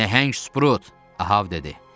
Nəhəng Sprut, Ahəv dedi.